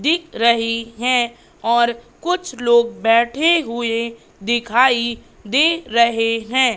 दिख रही है और कुछ लोग बैठे हुए दिखाई दे रहे हैं।